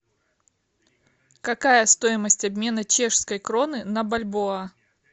какая стоимость обмена чешской кроны на бальбоа